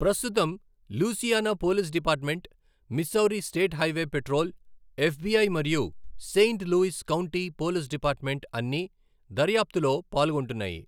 ప్రస్తుతం, Louisiana Police Department, Missouri State Highway Patrol, FBI మరియు Saint Louis County Police Department, అన్నీ దర్యాప్తులో పాల్గొంటున్నాయి.